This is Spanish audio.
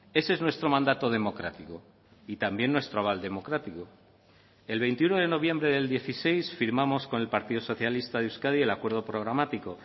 ese es nuestro mandato democrático y también nuestro aval democrático el veintiuno de noviembre del dieciséis firmamos con el partido socialista de euskadi el acuerdo programático